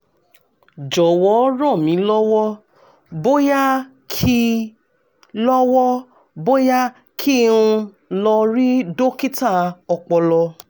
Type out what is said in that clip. jọ̀wọ́ ràn mí lọ́wọ́ bóyá kí lọ́wọ́ bóyá kí n lọ rí dókítà ọpọlọ